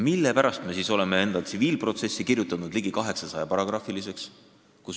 Mille pärast me ikkagi oleme oma tsiviilkohtumenetluse seadustiku kirjutanud ligi 800-paragrahviliseks?